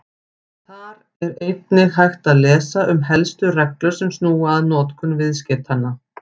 Þar er einnig hægt að lesa um helstu reglur sem snúa að notkun viðskeytanna.